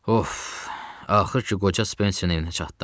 Of, axır ki, qoca Spenserin evinə çatdım.